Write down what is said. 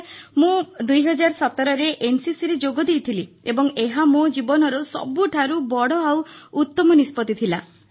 sir ମୁଁ 2017ରେ ଏନସିସିରେ ଯୋଗଦେଇଥିଲି ଏବଂ ଏହା ମୋ ଜୀବନର ସବୁଠାରୁ ବଡ଼ ଆଉ ଭଲ ନିଷ୍ପତ୍ତି ଥିଲା